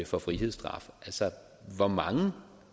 for frihedsstraffe hvor mange